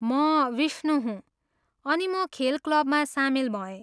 म विष्णू हुँ, अनि म खेल क्लबमा सामेल भएँ।